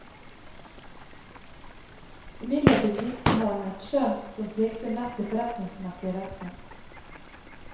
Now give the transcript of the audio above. Imidlertid viste han et skjønn som pekte mest i forretningsmessig retning.